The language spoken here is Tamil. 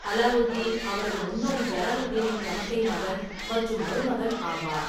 அலாவுதீன் அவரது முன்னோடி ஜலாலுதீனின் தமக்கை மகன் மற்றும் மருமகன் ஆவார்.